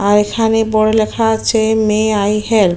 আর এখানে বোর্ড -এ লেখা আছে মে আই হেল্প ।